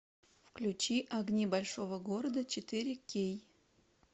включи огни большого города четыре кей